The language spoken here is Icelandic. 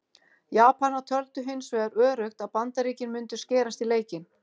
Japanar töldu hins vegar öruggt að Bandaríkin mundu skerast í leikinn.